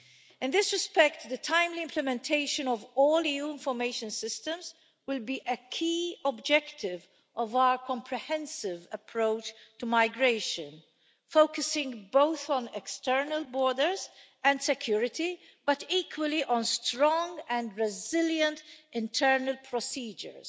In this respect, the timely implementation of all EU information systems will be a key objective of our comprehensive approach to migration, focusing on both external borders and security, but equally on strong and resilient internal procedures,